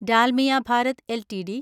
Dalmia Bharat LTD